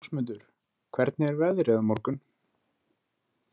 Rósmundur, hvernig er veðrið á morgun?